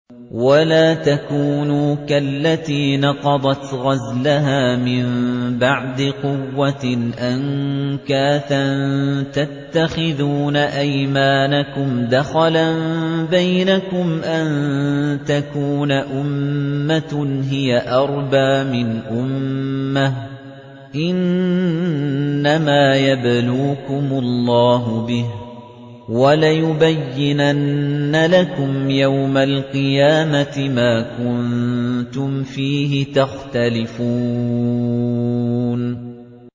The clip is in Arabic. وَلَا تَكُونُوا كَالَّتِي نَقَضَتْ غَزْلَهَا مِن بَعْدِ قُوَّةٍ أَنكَاثًا تَتَّخِذُونَ أَيْمَانَكُمْ دَخَلًا بَيْنَكُمْ أَن تَكُونَ أُمَّةٌ هِيَ أَرْبَىٰ مِنْ أُمَّةٍ ۚ إِنَّمَا يَبْلُوكُمُ اللَّهُ بِهِ ۚ وَلَيُبَيِّنَنَّ لَكُمْ يَوْمَ الْقِيَامَةِ مَا كُنتُمْ فِيهِ تَخْتَلِفُونَ